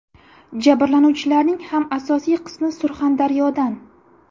Jabrlanuvchilarning ham asosiy qismi Surxondaryodan.